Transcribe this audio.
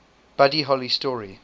buddy holly story